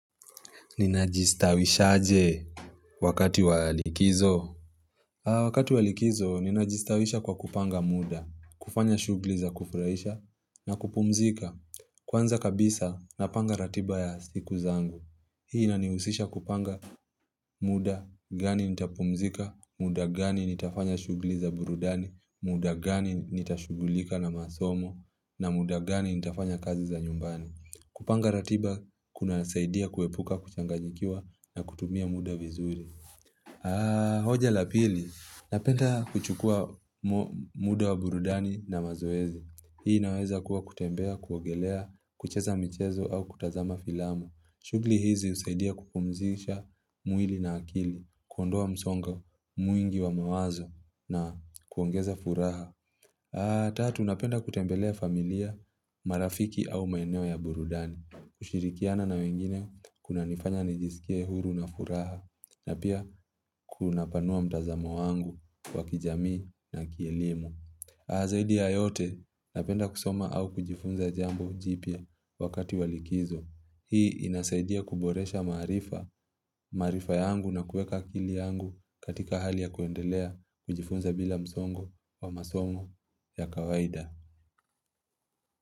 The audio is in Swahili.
Nina jistawisha aje wakati walikizo? Wakati walikizo nina jistawisha kwa kupanga muda kufanya shughuli za kufurahisha na kupumzika Kwanza kabisa napanga ratiba ya siku zangu Hii inanihusisha kupanga muda gani nitapumzika muda gani nitafanya shughuli za burudani muda gani nitashugulika na masomo na muda gani nitafanya kazi za nyumbani kupanga ratiba kuna saidia kuepuka kuchangajikiwa na kutumia muda vizuri hoja la pili Napenda kuchukua muda wa burudani na mazoezi Hii naweza kuwa kutembea, kuogelea, kucheza mchezo au kutazama filamu shughuli hizi husaidia kupumzisha mwili na akili kuondoa msongo, mwingi wa mawazo na kuongeza furaha Tatu, napenda kutembelea familia, marafiki au maeneo ya burudani kushirikiana na wengine kuna nifanya nijisikia huru na furaha na pia kuna panua mtazamo wangu wakijamii na kielimu. Zaidi ya yote napenda kusoma au kujifunza jambo jipya wakati walikizo. Hii inasaidia kuboresha maarifa, maarifa yangu na kuweka akili yangu katika hali ya kuendelea kujifunza bila msongo wa masomo ya kawaida.